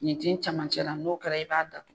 Ɲintin camancɛra n'o kɛra i b'a da